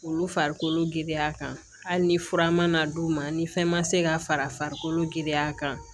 Olu farikolo giriya kan hali ni fura ma na d'u ma ni fɛn ma se ka fara farikolo giriya kan